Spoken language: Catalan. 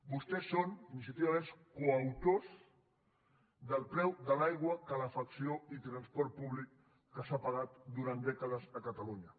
vostès són iniciativa verds coautors del preu de l’aigua calefacció i transport públic que s’ha pagat durant dècades a catalunya